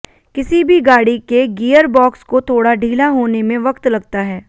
किसी भी गाड़ी के गियरबॉक्स को थोड़ा ढीला होने में वक्त लगता है